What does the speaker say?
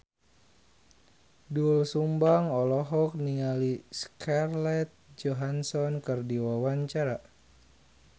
Doel Sumbang olohok ningali Scarlett Johansson keur diwawancara